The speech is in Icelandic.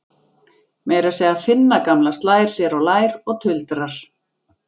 Meira að segja Finna gamla slær sér á lær og tuldrar